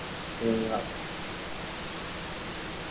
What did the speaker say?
হম রাখ